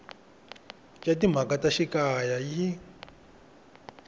ya timhaka ta xikaya yi